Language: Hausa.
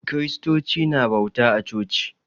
Kristoci na bauta a coci.